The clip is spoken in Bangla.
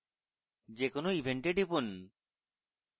যে কোনো event এ টিপুন